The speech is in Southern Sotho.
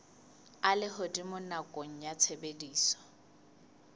a lehodimo nakong ya tshebediso